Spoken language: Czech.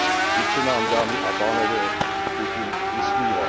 Vždyť se nám, dámy a pánové, Putin vysmívá.